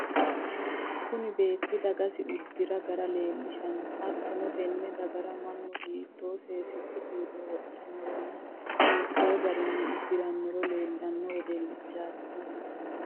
Kunni beeti dagasi udira gara leelishano. Hattono tenne dagara mannu hiitoo seensilu uduune wodhanoronna hiittoo garinni udiranora leelishano wedelichaati kunni.